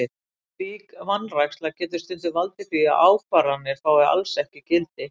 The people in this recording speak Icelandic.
Slík vanræksla getur stundum valdið því að ákvarðanir fái alls ekki gildi.